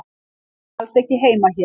Þú átt alls ekki heima hér.